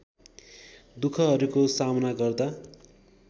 दुखहरूको सामना गर्दा